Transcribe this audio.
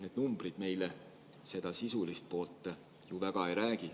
Need numbrid meile sellest sisulisest poolest ju väga ei räägi.